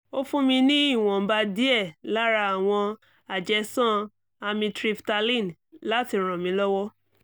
ó fún mi ní ìwọ̀nba díẹ̀ lára àwọn àjẹsán amytryptaline láti ràn mí lọ́wọ́